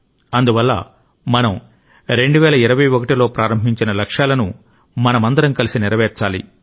అందువల్ల మనం 2021 లో ప్రారంభించిన లక్ష్యాలను మనమందరం కలిసి నెరవేర్చాలి